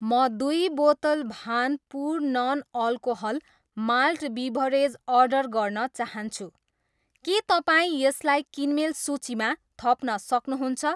म दुई बोतल Bhanpur non alcohol malt beverage order गर्न चाहन्छु, के तपाईँ यसलाई किनमेल सूचीमा थप्न सक्नुहुन्छ?